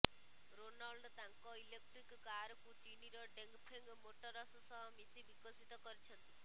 Renault ତାଙ୍କ electric କାରକୁ ଚୀନର ଡଙ୍ଗଫେଙ୍ଗ ମୋଟରସ ସହ ମିଶି ବିକଶିତ କରିଛନ୍ତି